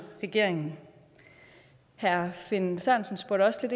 regeringen herre finn sørensen spurgte også